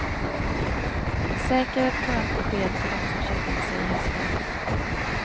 Säker ett skönt besked för de som köpt in sig i hästen nyss.